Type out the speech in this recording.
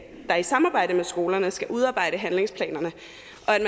der i samarbejde med skolerne skal udarbejde handlingsplanerne